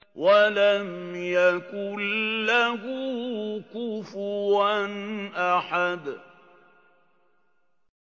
وَلَمْ يَكُن لَّهُ كُفُوًا أَحَدٌ